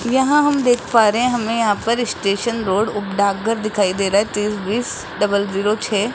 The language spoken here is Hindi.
यहां हम देख पा रहे है हमे यहां पर स्टेशन रोड उप डाकघर दिखाई दे रहा है तीस बीस डबल जीरो छः।